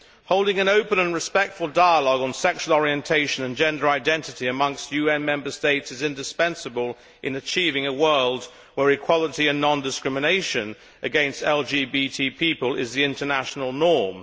Holding an open and respectful dialogue on sexual orientation and gender identity amongst UN Member States is indispensable in achieving a world where equality and non discrimination against LGBT people is the international norm.